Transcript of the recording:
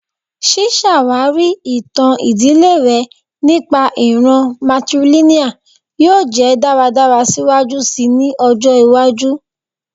Ṣiṣawari itan idile rẹ nipa iran matrilineal yoo jẹ daradara siwaju sii ni ọjọ iwaju